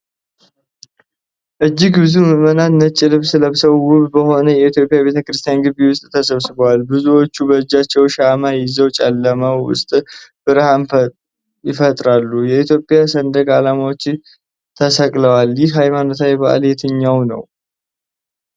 እጅግ ብዙ ምዕመናን ነጭ ልብስ ለብሰው ውብ በሆነ የኢትዮጵያ ቤተ ክርስቲያን ግቢ ውስጥ ተሰብስበዋል። ብዙዎቹ በእጃቸው ሻማ ይዘው ጨለማው ውስጥ ብርሃን ይፈጥራሉ። የኢትዮጵያ ሰንደቅ ዓላማዎች ተሰቅለዋል። ይህ ሃይማኖታዊ በዓል የትኛው ነው?